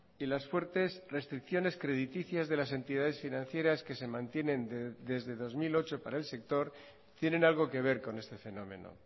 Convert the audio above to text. y las fuertes restricciones crediticias de las entidades financieras que se mantienen desde dos mil ocho para el sector tienen algo que ver con este fenómeno